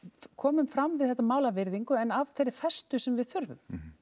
komum fram við þetta mál af virðingu en af þeirri festu sem við þurfum